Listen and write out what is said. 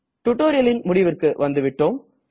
டுடோரியலின் முடிவிற்கு வந்துவிட்டோம்